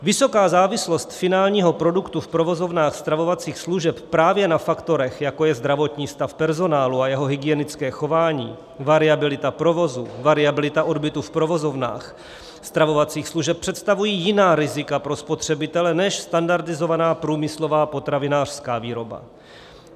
Vysoká závislost finálního produktu v provozovnách stravovacích služeb právě na faktorech, jako je zdravotní stav personálu a jeho hygienické chování, variabilita provozu, variabilita odbytu v provozovnách stravovacích služeb, představují jiná rizika pro spotřebitele než standardizovaná průmyslová potravinářská výroba.